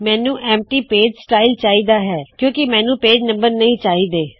ਮੈਨੂੰ empty page style ਚਾਹੀ ਦਾ ਹੈ ਕਿਉ ਕਿ ਮੈਨੂੰ ਪੇਜ ਨੰਬਰ ਨਹੀ ਚਾਹੀ ਦੇ